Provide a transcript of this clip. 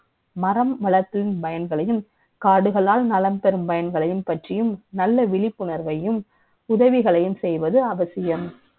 மரம் வளர்ப்பின் பயன்களை யும், காடுகளால் நலம் பெ றும் பயன்களை யும் பற்றியும், நல்ல விழிப்புணர்வை யும், உதவிகளை யும் செ ய்வது அவசியம்